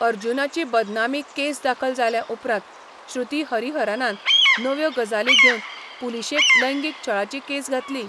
अर्जुनाची बदनामी केस दाखल जाले उपरांत श्रुती हरिहरनान नव्यो गजाली घेवन पुलिशेंत लैंगीक छळाची केस घातली.